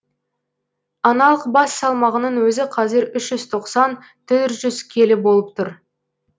аналық бас салмағының өзі қазір үш жүз тоқсан төрт жүз келі болып тұр